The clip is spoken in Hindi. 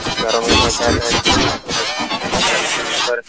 घरों में पोहचाता है लेकिन आज के आधुनिकरण युग पर --